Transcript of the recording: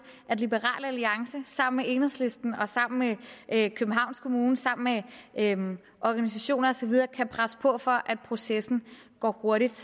at liberal alliance sammen med enhedslisten og sammen med københavns kommune og sammen med organisationer og så videre kan presse på for at processen går hurtigt